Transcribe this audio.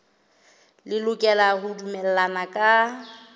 le lokela ho dumellana ka